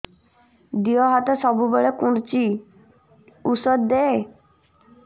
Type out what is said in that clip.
ଦିହ ହାତ ସବୁବେଳେ କୁଣ୍ଡୁଚି ଉଷ୍ଧ ଦେ